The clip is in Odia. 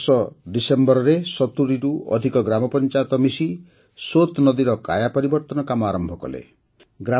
ଗତବର୍ଷ ଡିସେମ୍ବରରେ ୭୦ରୁ ଅଧିକ ଗ୍ରାମ ପଞ୍ଚାୟତ ମିଶି ସୋତ୍ ନଦୀର କାୟା ପରିବର୍ତ୍ତନ କାମ ଆରମ୍ଭ କଲେ